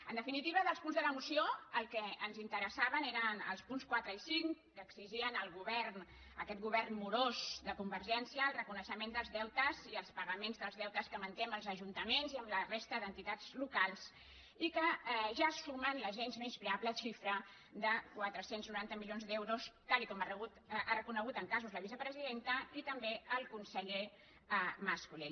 en definitiva dels punts de la moció els que ens interessaven eren els punts quatre i cinc que exigien al govern a aquest govern morós de convergència el reconeixement dels deutes i els pagaments dels deutes que manté amb els ajuntaments i amb la resta d’enti·tats locals i que ja sumen la gens menyspreable xifra de quatre cents i noranta milions d’euros tal com han reconegut en ca·sos la vicepresidenta i també el conseller mas·colell